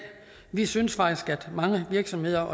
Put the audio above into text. vi synes faktisk at mange virksomheder